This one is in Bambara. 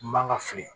N man ka fili